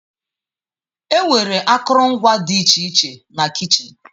Enwere akụrụngwa dị iche iche na kichin.